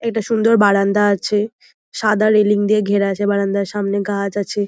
এটা সুন্দর বারান্দা আছে সাদা রেলিং দিয়ে ঘেরা আছে বারান্দার সামনে গাছ আছে।